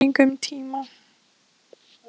Það væri bara spurning um tíma.